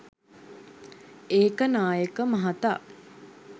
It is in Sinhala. ඒකනායක මහතා